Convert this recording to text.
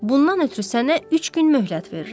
Bundan ötrü sənə üç gün möhlət verirəm.